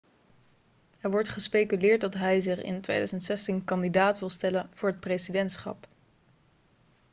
er wordt gespeculeerd dat hij zich in 2016 kandidaat wil stellen voor het presidentschap